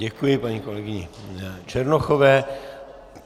Děkuji paní kolegyni Černochové.